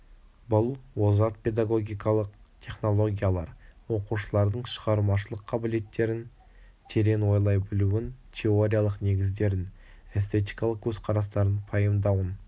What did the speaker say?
бұл озат педагогикалық технологиялар оқушылардың шығармашылық қабілеттерін терең ойлай білуін теориялық негіздерін эстетикалық көзқарастарын пайымдауын